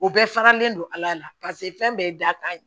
O bɛɛ faralen don ala paseke fɛn bɛɛ ye dakan ye